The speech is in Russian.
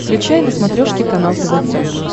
включай на смотрешке канал тв центр